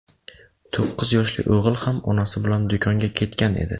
To‘qqiz yoshli o‘g‘il ham onasi bilan do‘konga ketgan edi.